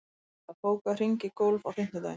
Sissa, bókaðu hring í golf á fimmtudaginn.